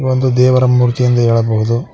ಒಂದು ದೇವರ ಮೂರ್ತಿ ಎಂದು ಹೇಳಬಹುದು.